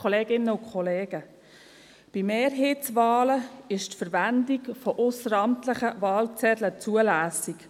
Bei Mehrheitswahlen ist die Verwendung von ausseramtlichen Wahlzetteln zulässig.